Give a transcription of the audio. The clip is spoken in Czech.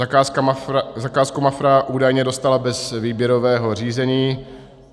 Zakázku Mafra údajně dostala bez výběrového řízení.